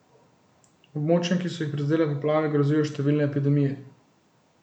Območjem, ki so jih prizadele poplave, grozijo številne epidemije.